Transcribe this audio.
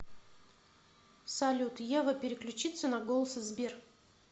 салют ева переключится на голос сбер